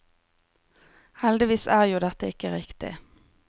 Heldigvis er jo dette ikke riktig.